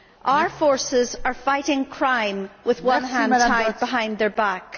Our forces are fighting crime with one hand tied behind their back.